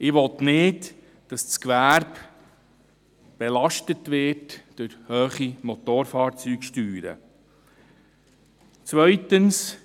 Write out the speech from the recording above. Ich will nicht, dass das Gewerbe durch hohe Motorfahrzeugsteuern belastet wird.